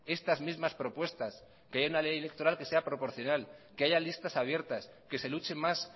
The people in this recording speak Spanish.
estas mismas propuestas que haya una ley electoral que sea proporcional que haya listas abiertas que se luche más